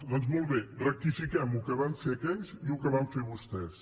doncs molt bé rectifiquem el que van fer aquells i el que van fer vostès